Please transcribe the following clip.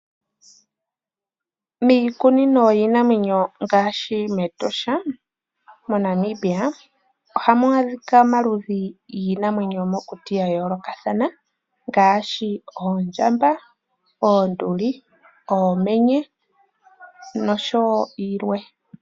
Miikunino yiinamwenyo ngaashi mEtosha moNamibia ohamu adhika omaludhi giinamwenyo yomokuti ga yoolokathana ngaashi oondjamba, oonduli, uumenye noshowo yilwe.